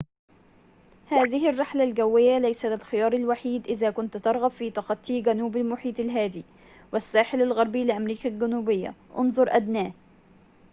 هذه الرحلة الجوية ليست الخيار الوحيد إذا كنت ترغب في تخطي جنوب المحيط الهادئ والساحل الغربي لأمريكا الجنوبية، انظر أدناه